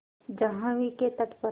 जाह्नवी के तट पर